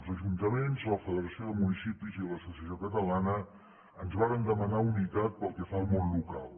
els ajuntaments la federació de municipis i l’associació catalana ens varen demanar unitat pel que fa al món local